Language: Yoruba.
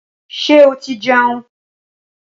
Ṣé oti jẹun?